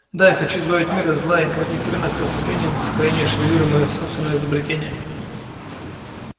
да я хочу избавить мир от зла и наводнить рынок составлением для сохранения шевелюры моего собственного изобретения